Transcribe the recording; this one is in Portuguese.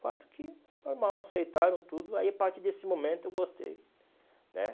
Fato que, normal, aceitaram tudo, aí a partir desse momento eu gostei, né?